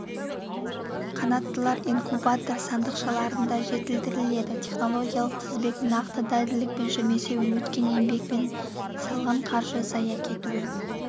қанаттылар инкубатор сандықшаларында жетілдіріледі технологиялық тізбек нақты дәлдікпен жүрмесе еткен еңбек пен салған қаржы зая кетуі